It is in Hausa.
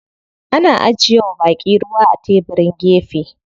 Ana ajiye wa baƙi ruwa a tebirin gefe.